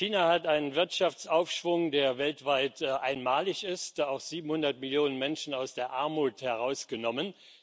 China hat einen Wirtschaftsaufschwung, der weltweit einmalig ist 700 Millionen Menschen aus der Armut herausgenommen.